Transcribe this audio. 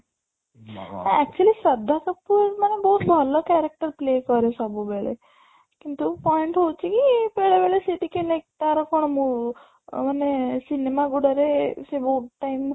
actually Shraddha Kapoor ମାନେ ବହୁତ ଭଲ character play କରେ ସବୁବେଳେ କିନ୍ତୁ point ହଉଚି କି ବେଳେ ବେଳେ ସେ ଟିକେ like ତାର କ'ଣ ମୋ ମାନେ cinema ଗୁଡା ରେ ସେ ବହୁତ time